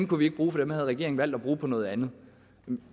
kunne vi ikke bruge for dem havde regeringen valgt at bruge på noget andet